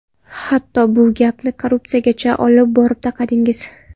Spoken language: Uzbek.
Hatto bu gapni korrupsiyagacha olib borib taqadingiz.